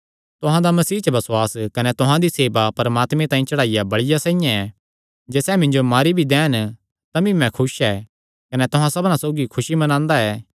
तुहां दा मसीह च बसुआस कने तुहां दी सेवा परमात्मे तांई चढ़ाईया बल़िया साइआं ऐ जे सैह़ मिन्जो मारी भी दैन तमी मैं खुस ऐ कने तुहां सबना सौगी खुसी मनांदा ऐ